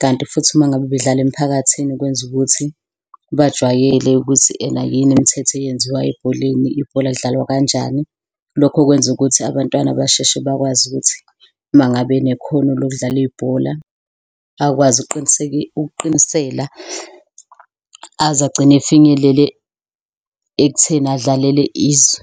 kanti futhi uma ngabe bedlala emphakathini kwenza ukuthi bajwayele ukuthi ena yini imithetho eyenziwa ebholeni ibhola lidlalwa kanjani. Lokho kwenza ukuthi abantwana basheshe bakwazi ukuthi uma ngabe nekhono lokudlala ibhola akwazi ukuqinisela, aze agcine efinyelele ekutheni adlalele izwe.